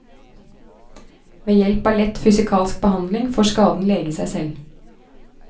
Ved hjelp av lett fysikalsk behandling får skaden lege seg selv.